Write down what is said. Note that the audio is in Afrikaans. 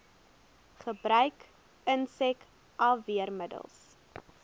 gebruik insek afweermiddels